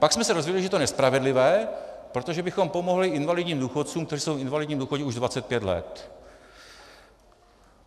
Pak jsme se dozvěděli, že je to nespravedlivé, protože bychom pomohli invalidním důchodcům, kteří jsou v invalidním důchodu už 25 let.